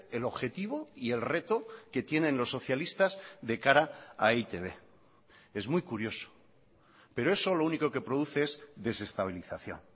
el objetivo y el reto que tienen los socialistas de cara a e i te be es muy curioso pero eso lo único que produce es desestabilización